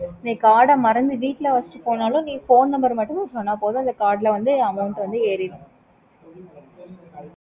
okay mam